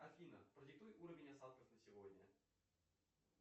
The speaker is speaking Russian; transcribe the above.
афина продиктуй уровень осадков на сегодня